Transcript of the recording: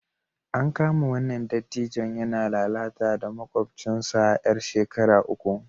An kama wannan dattijon yana lalata da makwabcinsa 'yar shekara uku